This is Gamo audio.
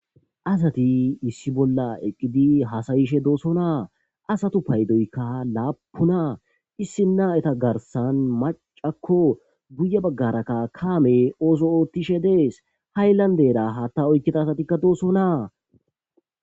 Asati issi bolla eqid hassayishe dossona ha asata paydo lapunakko ha asata giddon Issi macay dawus ha asatikka haththa oyqid dossona